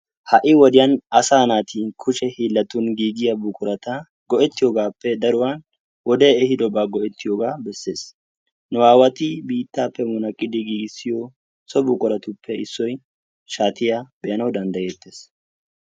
Ha"I wode asaa naati kushe hiillan giigiya buqurata go"ettiyoogaappe daruwaa wodee ehiidobaa go"ettiyogaa besses. Nu aawati biittaappe munaq qidi giigissiyo so buquratuppe issoyi shaatiya be"anawu danddayettees.